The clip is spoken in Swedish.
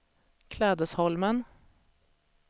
Klädesholmen